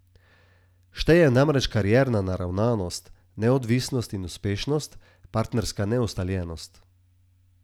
Šteje namreč karierna naravnanost, neodvisnost in uspešnost, partnerska neustaljenost.